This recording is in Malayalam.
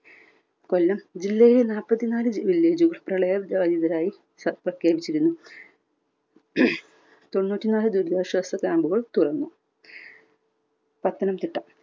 കൊല്ലം ജില്ലയിലെ നാല്പതിനാല് വില്ലേജുകളും പ്രളയ ബാധിതരായി പ്രഖ്യാപിച്ചിരുന്നു. തൊണ്ണൂറ്റി നാല് ദുരിതാശ്വാസ camp കൾ തുറന്നു. പത്തനംതിട്ട